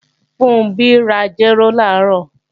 Funbí ra jéró làárọ̀